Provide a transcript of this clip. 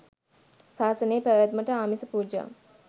සාසනයේ පැවැත්මට ආමිස පූජා